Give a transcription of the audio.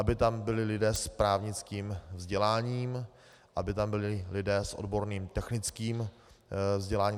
Aby tam byli lidé s právnickým vzděláním, aby tam byli lidé s odborným technickým vzděláním.